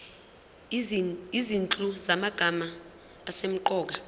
izinhlu zamagama asemqoka